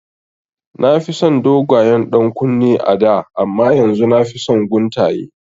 Na fi son dogayen ɗankunne a da amma yanzu nafi son guntaye